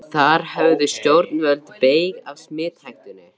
Þar höfðu stjórnvöld beyg af smithættunni.